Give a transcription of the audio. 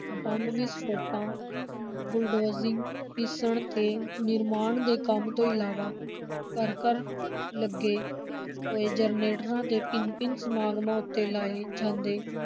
bomb ਵਿਸਫੋਟਾਂ, bulldozing, ਪੀਸਣ ਤੇ ਨਿਰਮਾਣ ਦੇ ਕੰਮ ਤੋਂ ਇਲਾਵਾ ਘਰ-ਘਰ ਲੱਗੇ ਹੋਏ ਜੈਨਰੇਟਰਾਂ ਤੇ ਭਿੰਨ-ਭਿੰਨ ਸਮਾਗਮਾਂ ਉੱਤੇ ਲਾਏ ਜਾਂਦੇ